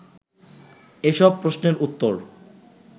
এ সব প্রশ্নের উত্তর